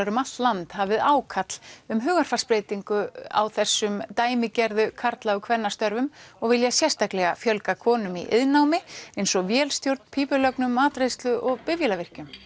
um allt land hafið ákall um hugarfarsbreytingar á þessum dæmigerðu karla og kvennastörfum og vilja sérstaklega fjölga konum í iðnnámi eins og vélstjórn pípulögnum matreiðslu og bifvélavirkjun